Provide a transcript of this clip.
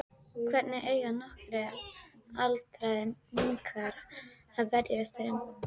Hvernig eiga nokkrir aldraðir munkar að verjast þeim?